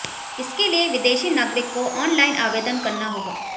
इसके लिए विदेशी नागरिक को ऑनलाइन आवेदन करना होगा